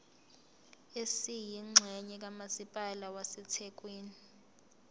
esiyingxenye kamasipala wasethekwini